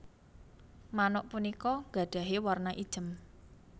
Manuk punika nggadhahi warna ijem